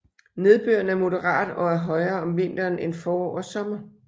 Nedbøren er moderat og er højere om vinteren end forår og sommer